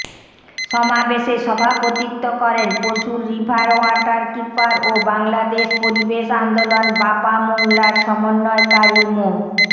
সমাবেশে সভাপতিত্ব করেন পশুর রিভার ওয়াটারকিপার ও বাংলাদেশ পরিবেশ আন্দোলন বাপা মোংলার সমন্বয়কারী মো